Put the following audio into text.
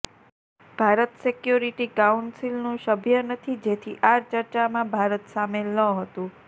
Bharat security કાઉન્સિલનું સભ્ય નથી જેથી આ ચર્ચામાં ભારત સામેલ ન હતું